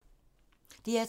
DR2